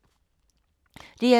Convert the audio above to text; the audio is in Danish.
DR2